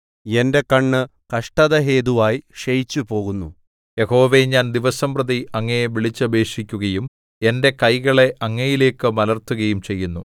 എന്റെ കണ്ണ് കഷ്ടതഹേതുവായി ക്ഷയിച്ചുപോകുന്നു യഹോവേ ഞാൻ ദിവസംപ്രതി അങ്ങയെ വിളിച്ചപേക്ഷിക്കുകയും എന്റെ കൈകളെ അങ്ങയിലേക്ക് മലർത്തുകയും ചെയ്യുന്നു